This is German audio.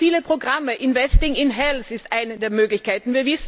Wir haben viele Programme Investing in Health ist eine der Möglichkeiten.